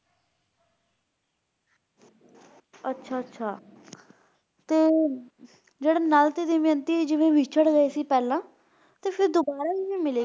ਅੱਛਾ-ਅੱਛਾ ਤੇ ਜਿਹੜੇ ਨਲ ਤੇ ਦਮਯੰਤੀ ਜਿਵੇਂ ਵਿੱਛੜ ਗਏ ਸੀ ਪਹਿਲਾਂ ਤੇ ਫਿਰ ਦੁਬਾਰਾ ਕਿਵੇਂ ਮਿਲੇ?